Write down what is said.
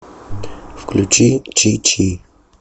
включи чи чи